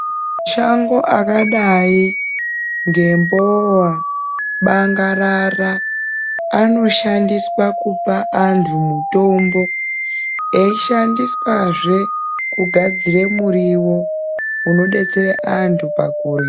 Mashango akadai ngembowa, bangarara, anoshandiswa kupa antu mutombo, eishandiswa zve kugadzire muriwo unodetsere antu pakurya.